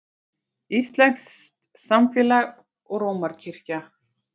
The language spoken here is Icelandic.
Íslenskt samfélag og Rómarkirkja.